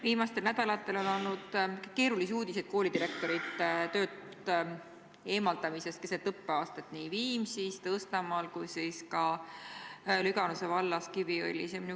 Viimastel nädalatel on olnud keerulisi uudiseid koolidirektorite töölt eemaldamisest keset õppeaastat nii Viimsis, Tõstamaal kui ka Lüganuse vallas Kiviõlis.